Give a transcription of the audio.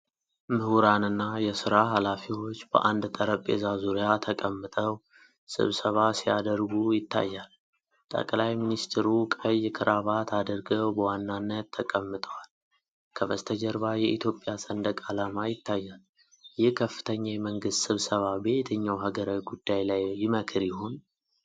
ምሁራንና የሥራ ኃላፊዎች በአንድ ጠረጴዛ ዙሪያ ተቀምጠው ስብሰባ ሲያደርጉ ይታያል። ጠቅላይ ሚኒስትሩ ቀይ ክራባት አድርገው በዋናነት ተቀምጠዋል፣ ከበስተጀርባ የኢትዮጵያ ሰንደቅ ዓላማ ይታያል። ይህ ከፍተኛ የመንግስት ስብሰባ በየትኛው ሀገራዊ ጉዳይ ላይ ይመክር ይሆን?